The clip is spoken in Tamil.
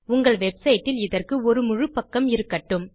உங்கள் வெப்சைட் இல் இதற்கு ஒரு முழு பக்கம் இருக்கட்டும்